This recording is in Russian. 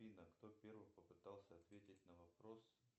афина кто первым попытался ответить на вопрос